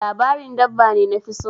Labarin dabba ne nafi so.